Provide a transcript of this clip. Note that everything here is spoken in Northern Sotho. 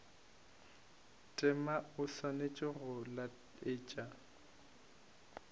tema o swanetše go laetša